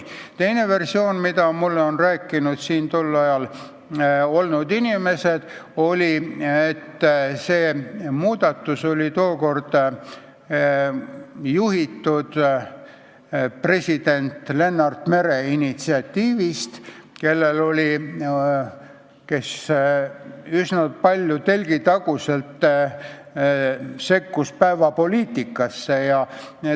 Teine versioon, mida mulle on rääkinud tol ajal siin olnud inimesed, on see, et see muudatus tulenes tookord president Lennart Meri initsiatiivist, kes üsna palju telgitaguselt päevapoliitikasse sekkus.